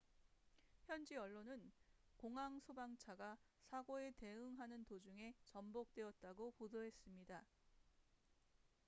현지 언론은 공항 소방차가 사고에 대응하는 도중에 전복되었다고 보도했습니다